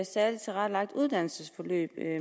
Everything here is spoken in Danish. særlig tilrettelagte uddannelsesforløb